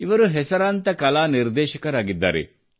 ಇವರು ಹೆಸರಾಂತ ಕಲಾ ನಿರ್ದೇಶಕರಾಗಿದ್ದಾರೆ